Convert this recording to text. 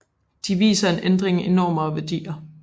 De viser en ændring i normer og værdier